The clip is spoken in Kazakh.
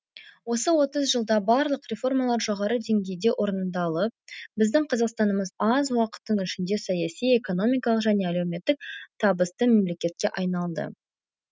осы отыз жылда барлық реформалар жоғары деңгейде орындалып біздің қазақстанымыз аз уақыттың ішінде саяси экономикалық және әлеуметтік табысты мемлекетке айналды